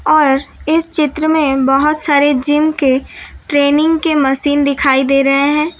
और इस चित्र में बहोत सारे जिम के ट्रेनिंग के मशीन दिखाई दे रहे हैं।